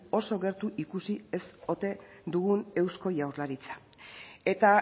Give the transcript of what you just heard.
oso gertu ikusi ez ote dugun eusko jaurlaritza eta